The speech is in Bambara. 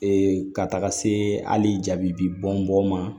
ka taga se hali jabi bɔn bɔn ma